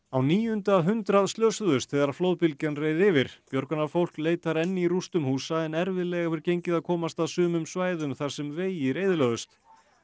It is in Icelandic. á níunda hundrað slösuðust þegar flóðbylgjan reið yfir björgunarfólk leitar enn í rústum húsa en erfiðlega hefur gengið að komast að sumum svæðum þar sem vegir eyðilögðust